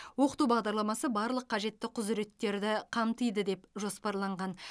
оқыту бағдарламасы барлық қажетті құзыреттерді қамтиды деп жоспарланған